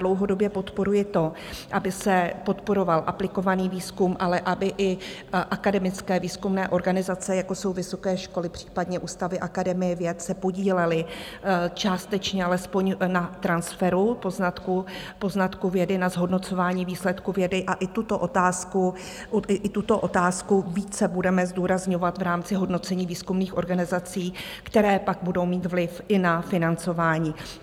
Dlouhodobě podporuji to, aby se podporoval aplikovaný výzkum, ale aby i akademické výzkumné organizace, jako jsou vysoké školy, případně ústavy Akademie věd, se podílely částečně alespoň na transferu poznatků vědy, na zhodnocování výsledků vědy, a i tuto otázku více budeme zdůrazňovat v rámci hodnocení výzkumných organizací, které pak budou mít vliv i na financování.